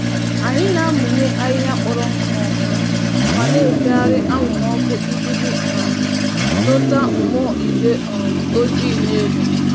Anyị na-amụnye ahịhịa kpọrọ nkụ ọkụ, ma na-efegharị anwụrụ ọkụ iji iji um dọta mmụọ igwe um ojii n'elu.